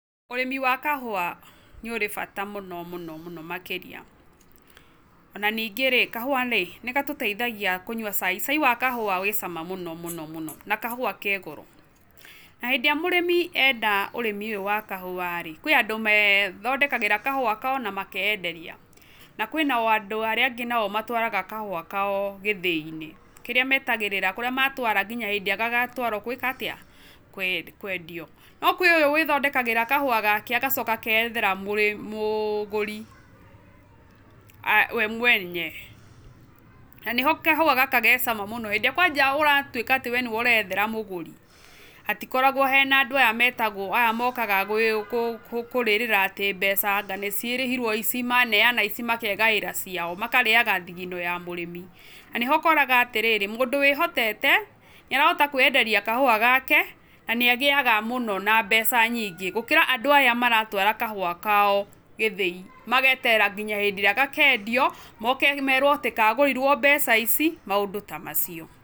Urĩmi wa kahũa nĩ ũrĩ bata mũno mũno mũno makĩria, ona ningĩ rĩ kahũa rĩ nĩ gatũteithagia kũnyua cai, cai wa kahũa wĩ cama mũno mũno mũno na kahũa ke goro, na hĩndĩ ĩrĩa mũrĩmi enda ũrĩmi ũyũ wa kahũa rĩ, kwĩ andũ methondekagĩra kahũa kao na makeyenderia na kwĩna andũ arĩa angĩ nao matwaraga kahũa kao gĩthĩinĩ kĩrĩa metagĩrĩra kũrĩa matwara nginya hĩndĩ ĩrĩa gagatwaro gwĩka atĩa? kwendio. No kwĩ ũyũ wĩthondekagĩra kahũa gake agacoka akeyethera mũgũri we mwene. Na nĩho kahũa gaka ge cama mũno, hĩndĩ ĩrĩa kwanja ũratuĩka atĩ we nĩwe ũreyethera mũgũri, hatikoragwo he na andũ aya metagwo aya mokaga kũrĩrĩra atĩ mbeca na nĩ cirĩhirwo ici manenana ici makegaĩra ciao makarĩaga thigino ya mũrĩmi. Na nĩho ũkoraga atĩrĩrĩ, mũndũ wĩhotete nĩarahota kwĩyenderia kahũa gake, na nĩ agĩaga mũno na mbeca nyingĩ gũkĩra andũ aya maratwara kahũa kao gĩthĩi, mageterera nginya hĩndĩ ĩrĩa gakendio moke merwo atĩ kagũrirwo mbeca ici, maũndũ ta macio.